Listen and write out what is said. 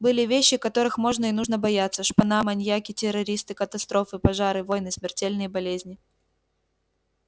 были вещи которых можно и нужно бояться шпана маньяки террористы катастрофы пожары войны смертельные болезни